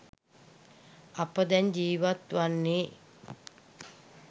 අප දැන් ජීවත්වන්නේ